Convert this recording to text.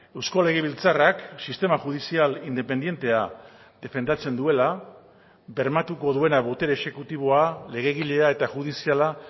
eusko legebiltzarrak sistema judizial independentea defendatzen duela bermatuko duena botere exekutiboa legegilea eta judiziala